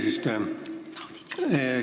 Hea ettekandja!